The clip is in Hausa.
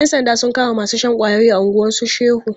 Yan sanda sun kama masu shan ƙwayoyi a unguwan su Shehu.